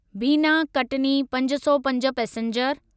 बीना कटनी पंज सौ पंज पैसेंजर